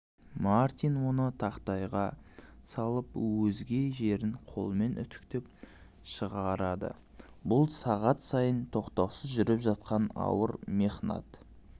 мартин оны тақтайға салып өзге жерін қолмен үтіктеп шығарадыбұл сағат сайын тоқтаусыз жүріп жатқан ауыр мехнат